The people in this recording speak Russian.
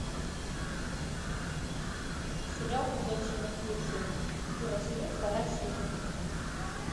сериал ходячие мертвецы первый сезон вторая серия